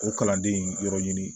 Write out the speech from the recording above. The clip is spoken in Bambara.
O kalanden in yɔrɔ ɲini